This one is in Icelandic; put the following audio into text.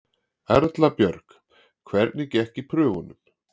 Erla Björg: Hvernig gekk í prufunum?